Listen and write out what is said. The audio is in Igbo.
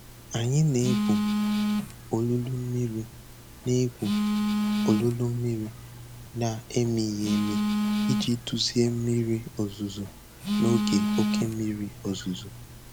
Anyị na-egwu olulu mmiri na-egwu olulu mmiri na-emighị emi iji duzie mmiri ozuzo n'oge oke mmiri ozuzo.